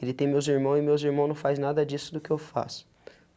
Ele tem meus irmão e meus irmão não faz nada disso do que eu faço.